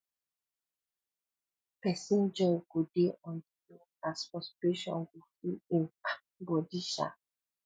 pesin joy go dey on di low as frustration go full im um bodi um